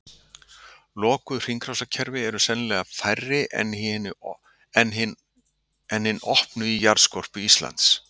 Lokuð hringrásarkerfi eru sennilega færri en hin opnu í jarðskorpu Íslands.